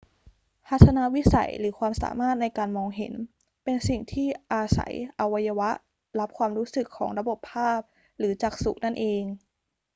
ทัศนวิสัย หรือความสามารถในการมองเห็นเป็นสิ่งที่อาศัยอวัยวะรับความรู้สึกของระบบภาพหรือจักษุนั่นเอง